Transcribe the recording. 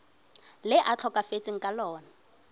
le a tlhokafetseng ka lona